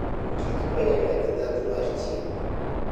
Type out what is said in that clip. Kich konyo e medo ndhadhu mar chiemo.